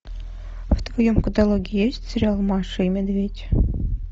в твоем каталоге есть сериал маша и медведь